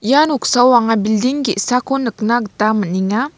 ia noksao anga bilding ge·sako nikna gita man·enga.